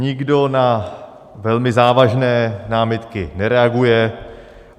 Nikdo na velmi závažné námitky nereaguje.